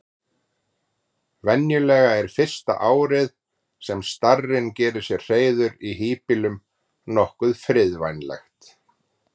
Venjulega er fyrsta árið sem starinn gerir sér hreiður í híbýlum nokkuð friðvænlegt.